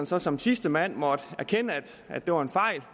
så som sidste mand erkende at det var en fejl